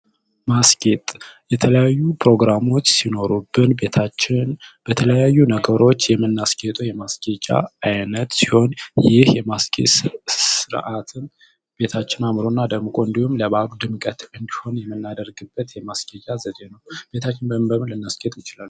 ማስጌጥ የተለያዩ ፕሮግራሞች ሲኖሩ ቤታችንን በተለያዩ ነገሮች የምናስጌጠው የማስጌጫ አይነት ሲሆን ይህ የማስጌጥ ስርዓት ቤታችን አምሮ እና ደምቆ ለበዓሉ ድምቀት ውብ እንዲሆን የምናረግበት ዘዴ ነው። ቤታችንን በምን በምን ልናስጌጥ እንችላለን?